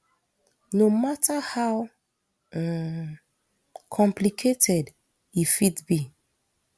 no mata how um complicated e fit be